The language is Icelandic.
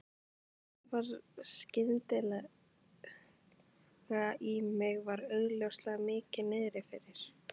Sævar skyndilega í mig og var augljóslega mikið niðri fyrir.